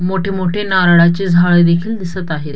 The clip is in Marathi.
मोठे मोठे नारळाचे झाडे देखील दिसत आहेत.